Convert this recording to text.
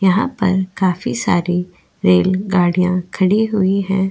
यहाँ पर काफी सारी रेल गाड़ियां खड़ी हुई है।